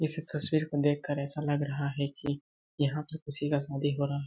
इस तस्वीर को देखकर ऐसा लग रहा है की यहाँ पे किसी का शादी हो रहा--